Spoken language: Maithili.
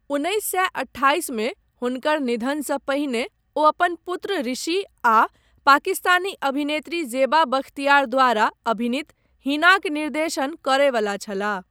उन्नैस सए अठासीमे हुनकर निधनसँ पहिने वो अपन पुत्र ऋषि आ पाकिस्तानी अभिनेत्री जेबा बख्तियार द्वारा अभिनीत हिनाक निर्देशन करय वला छलाह।